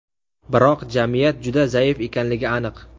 Biroq jamiyat juda zaif ekanligi aniq.